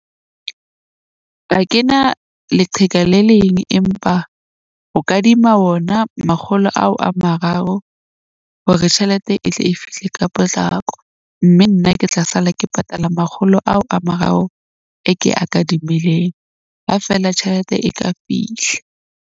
A kena leqheka le leng, empa o kadima wona makgolo ao a mararo, hore tjhelete e tle e fihle ka potlako. Mme nna ke tla sala ke patala makgolo ao a mararo. E ke a kadimileng ha feela tjhelete e ka fihla.